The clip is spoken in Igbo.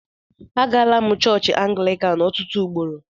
Agala m chọọchị Anglịkan ọtụtụ ugboro.